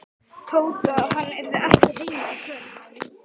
Tóta að hann yrði ekki heima í kvöld.